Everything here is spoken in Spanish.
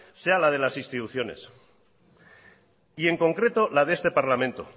sea el de las instituciones y en concreto la de este parlamento